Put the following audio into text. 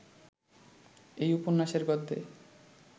এই উপন্যাসের গদ্যে